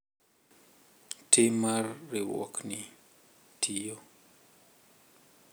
Tim mar riwruokni tiyo